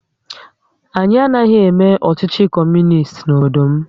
Anyị anaghị eme ọchịchị Kọmunist n'obodo m